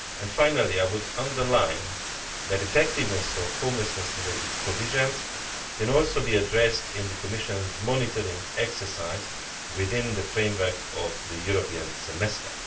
Finally, I would underline that the effectiveness of homelessness related provisions can also be addressed in the Commission's monitoring exercise within the framework of the European Semester.